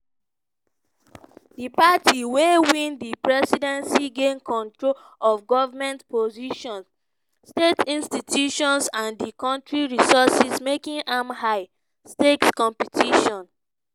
di party wey win di presidency gain control of goment positions state institutions and di kontri resources making am high-stakes competition.